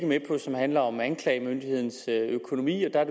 med i og som handler om anklagemyndighedens økonomi og der er